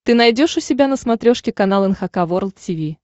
ты найдешь у себя на смотрешке канал эн эйч кей волд ти ви